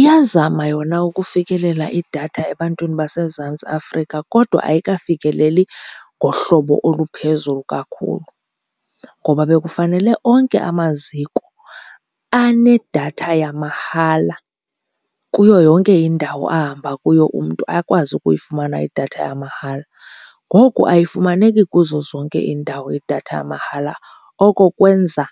Iyazama yona ukufikelela idatha ebantwini baseMzantsi Afrika kodwa ayikafikeleli ngohlobo oluphezulu kakhulu. Ngoba bekufanele onke amaziko anedatha yamahala, kuyo yonke indawo ahamba kuyo umntu akwazi ukuyifumana idatha yamahala. Ngoku ayifumaneki kuzo zonke iindawo idatha yamahala. Oko kwenza